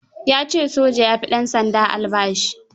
Ya ce soja ya ɗansanda albashi.